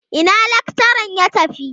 Ina lakcharan ya tafi?